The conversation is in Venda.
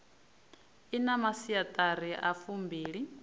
i na masiaṱari a fumbili